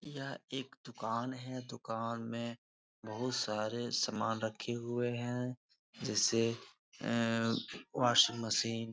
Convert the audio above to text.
यह एक दुकान है दुकान में बहुत सारे सामान रखे हुए हैं जैसे आ वाशिंग मशीन ।